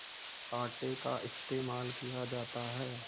आटे का इस्तेमाल किया जाता है